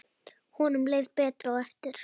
Honum leið betur á eftir.